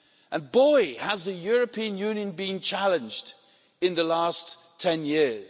And, boy, has the European Union been challenged in the past 10 years!